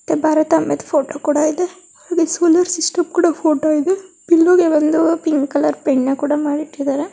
ಭಾರತಾಂಬೆ photo ಕೂಡ ಇದೆ ಹಾಗೆ ಸೋಲಾರ್ ಸಿಸ್ಟಮ್ ಫೋಟೋ ಕೂಡ ಇದೆ ಪಿಲ್ಲೋಗೆ ಒಂದು ಪಿಂಕ್ ಕಲರ್ ಪೈಂಟನ ಕೂಡ ಮಾಡಿಟ್ಟಿದ್ದಾರೆ.